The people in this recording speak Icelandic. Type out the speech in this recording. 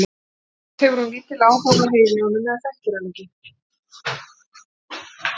Annað hvort hefur hún lítinn áhuga á að heyra í honum eða þekkir hann ekki.